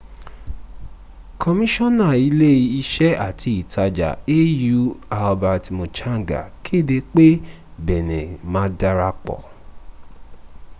kọmíṣọ́nà ilé iṣẹ́ àti ìtajà au albert muchanga kéde pé benin ma darapọ̀